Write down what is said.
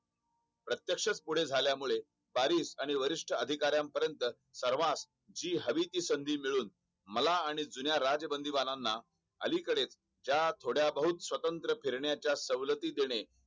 प्रत्यक्ष पुढे झाल्या मुले भरीस अंडी वरिष्ठ अधिकर्यांपर्यत सर्वास जी हवी ती संधी मिळून मला आणि जुन्या राजबंदीबाणांना अलीकडे जा थोड्या बहुत स्वतंत्र फिरण्याच्या सवलती देणे